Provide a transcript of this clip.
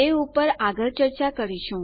તે પર આગળ ચર્ચા કરીશું